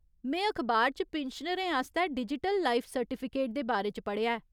में अखबार च पिन्शनरें आस्तै डिजिटल लाइफ सर्टिफिकेट दे बारे च पढ़ेआ ऐ।